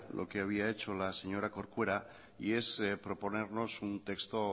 lo que había hecho la señora corcuera y es proponernos un testo